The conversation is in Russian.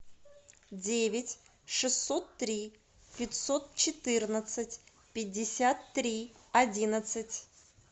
девять шестьсот три пятьсот четырнадцать пятьдесят три одиннадцать